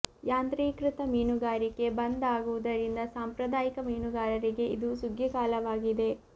ಯಾಂತ್ರೀಕೃತ ಮೀನುಗಾರಿಕೆ ಬಂದ್ ಆಗುವುದರಿಂದ ಸಾಂಪ್ರದಾಯಿಕ ಮೀನುಗಾರರಿಗೆ ಇದು ಸುಗ್ಗಿ ಕಾಲವಾಗಿದೆ